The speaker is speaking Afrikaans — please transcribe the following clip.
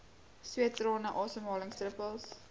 sweet trane asemhalingsdruppels